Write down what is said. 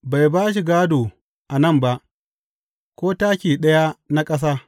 Bai ba shi gādo a nan ba, ko taki ɗaya na ƙasa.